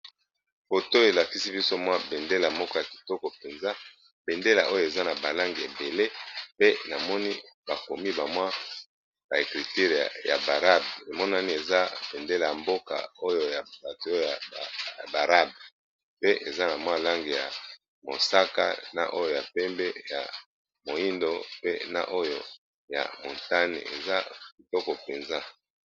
Foto oyo elakisi biso mwa bendela moko ya kitoko mpenza, bendela oyo eza na ba langi ebele pe namoni bakomi ba mwa ba ekriture ya barabe emonani eza bendela ya mboka oyo ya bato oyo ya barabe pe eza na mwa langi ya mosaka na oyo ya pembe ya moindo pe na oyo ya motane eza kitoko penza.